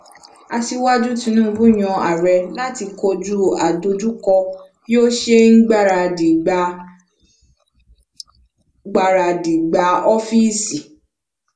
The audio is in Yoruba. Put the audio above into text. asíwájú tinubu yan ààrẹ láti kojú àdojúko bí o ṣe n gbaradi gbà n gbaradi gbà oofiisi